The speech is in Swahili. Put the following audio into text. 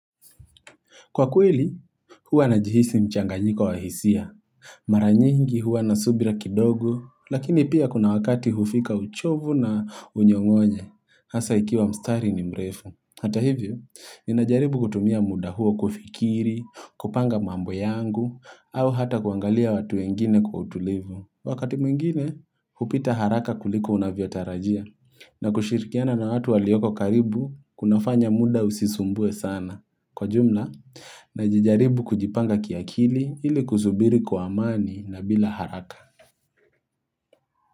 Kwa kweli huwa najihisi mchanganyiko wa hisia. Mara nyingi huwa subira kidogo lakini pia kuna wakati hufika uchovu na unyong'onye. Hasa ikiwa mstari ni mrefu. Hata hivyo ninajaribu kutumia muda huo kufikiri, kupanga mambo yangu, au hata kuangalia watu wengine kwa utulivu. Wakati mwingine hupita haraka kuliko unavyotarajia na kushirikiana na watu walioko karibu kunafanya muda usisumbue sana. Kwa jumla najijaribu kujipanga kiakili ili kusubiri kwa amani na bila haraka.